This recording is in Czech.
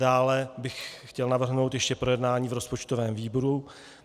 Dále bych chtěl navrhnout ještě projednání v rozpočtovém výboru.